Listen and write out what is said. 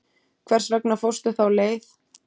Hvers vegna fórstu þá leið?